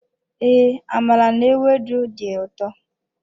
Ee, amala n'ewedu di ụtọ.